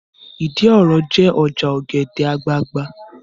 Ìdí òro jẹ́ ọjà ọ̀gẹ̀dẹ̀ àgbagbà